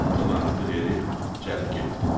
6 manatı verib cəld getdi.